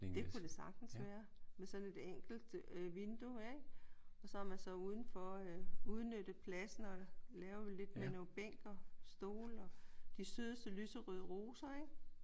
Det kunne det sagtens være. Med sådan et enkelt øh vindue ik? Og så har man så udenfor øh udnyttet pladsen og lavet lidt med noget bænk og stole og de sødeste lyserøde roser ik?